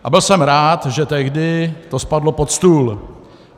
A byl jsem rád, že tehdy to spadlo pod stůl.